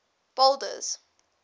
boulders